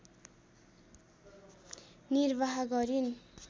निर्वाह गरिन्